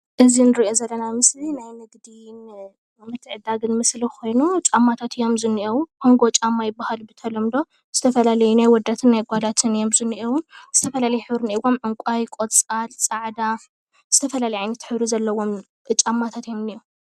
እዚ ንሪኦ ዘለና ምስሊ ናይ ንግዲ ዕዳጋ ምስሊ ኮይኑ ጫማታት አዮም ዝንኤዉ ኮንጎ ጫማ ይብሃል ብተለምዶ ዝተፈላለዩ ናይ ኣወዳትን ናይ ኣጓላትን እዮም ዝንኤዉ ዝተፈላለየ ሕብሪ እንኤዎም ዕንቋይ፣ ቆፃል፣ ፃዕዳ ዝተፈላለየ ዓይነት ሕብሪ ዘለዎም ጫማታት እዮም ዝንኤዉ ፡፡